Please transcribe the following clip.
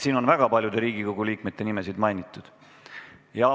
Siin on väga paljude Riigikogu liikmete nimesid mainitud.